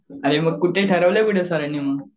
आणि मग कुठे ठरवलंय कुठे मग सरांनी?